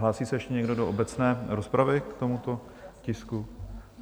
Hlásí se ještě někdo do obecné rozpravy k tomuto tisku?